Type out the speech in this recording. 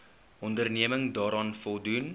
onderneming daaraan voldoen